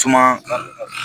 Suma